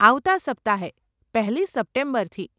આવતાં સપ્તાહે, પહેલી સપ્ટેમ્બરથી.